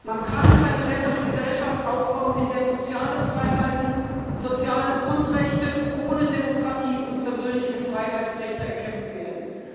Man kann keine bessere Gesellschaft aufbauen, in der soziale Freiheiten, soziale Grundrechte ohne Demokratie und persönliche Freiheitsrechte erkämpft werden.